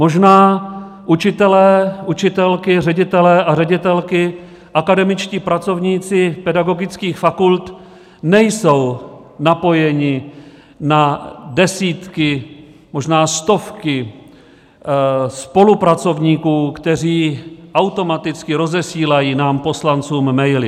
Možná učitelé, učitelky, ředitelé a ředitelky, akademičtí pracovníci pedagogických fakult nejsou napojeni na desítky, možná stovky spolupracovníků, kteří automaticky rozesílají nám poslancům maily.